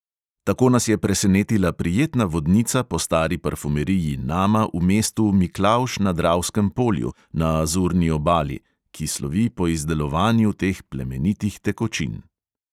Tako nas je presenetila prijetna vodnica po stari parfumeriji nama v mestu miklavž na dravskem polju na azurni obali, ki slovi po izdelovanju teh plemenitih tekočin.